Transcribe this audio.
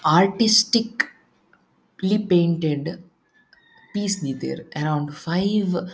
artistic ಪ್ಲಿ painted piece ದೀತೆರ್ around five --